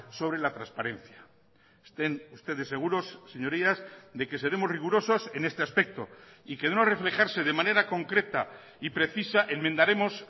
sobre la transparencia estén ustedes seguros señorías de que seremos rigurosos en este aspecto y que de no reflejarse de manera concreta y precisa enmendaremos